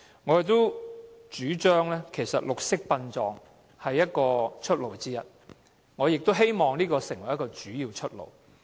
我們主張綠色殯葬是出路之一，亦希望這成為一個主要出路。